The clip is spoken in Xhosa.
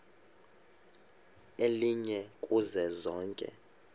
elinye kuzo zonke